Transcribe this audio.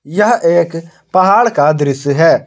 यह एक पहाड़ का दृश्य है।